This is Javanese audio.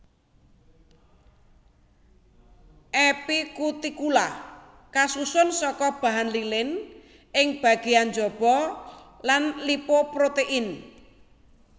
Epikutikula kasusun saka bahan lilin ing bagéyan njaba lan lipoprotein